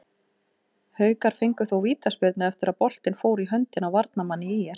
Haukar fengu þó vítaspyrnu eftir að boltinn fór í höndina á varnarmanni ÍR.